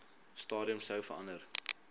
stadium sou verander